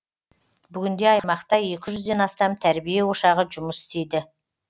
бүгінде аймақта екі жүзден астам тәрбие ошағы жұмыс істейді